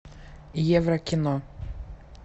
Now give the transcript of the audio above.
еврокино